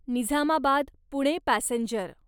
Nizamabad Pune passenger